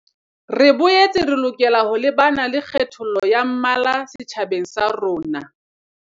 Re boetse re lokela ho lebana le kgethollo ya mmala setjhabeng sa rona.